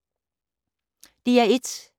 DR1